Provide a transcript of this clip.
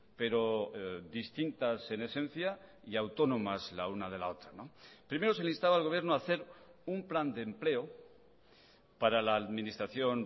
pero distintas en esencia y autónomas la una de la otra primero se le instaba al gobierno a hacer un plan de empleo para la administración